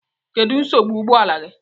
Kedu nsogbu ụgbọ ala gị?